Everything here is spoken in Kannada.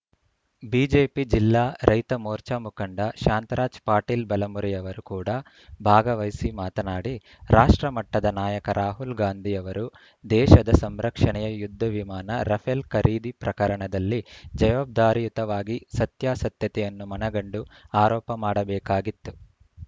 ಬಿಜೆಪಿ ಜಿಲ್ಲಾ ರೈತ ಮೋರ್ಚಾ ಮುಖಂಡ ಶಾಂತರಾಜ್‌ ಪಾಟೀಲ್‌ ಬಲಮುರಿ ಅವರು ಕೂಡ ಭಾಗವಹಿಸಿ ಮಾತನಾಡಿ ರಾಷ್ಟ್ರ ಮಟ್ಟದ ನಾಯಕ ರಾಹುಲ್ ಗಾಂಧಿಯವರು ದೇಶದ ಸಂರಕ್ಷಣೆಯ ಯುದ್ದ ವಿಮಾನ ರಫೆಲ್‌ ಖರೀದಿ ಪ್ರಕರಣದಲ್ಲಿ ಜವಾಬ್ದಾರಿಯುತವಾಗಿ ಸತ್ಯಾಸತ್ಯತೆಯನ್ನು ಮನಗಂಡು ಆರೋಪ ಮಾಡಬೇಕಾಗಿತ್ತು